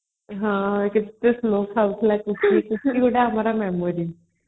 ହଁ କେତେ slow ଖାଉଥିଲା ସୁଶ୍ରୀ ସୁଶ୍ରୀ ଗୋଟେ ଆମର momory